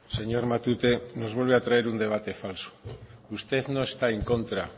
señor matute nos vuelve a traer un debate falso usted no está en contra